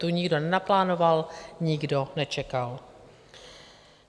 Tu nikdo nenaplánoval, nikdo nečekal.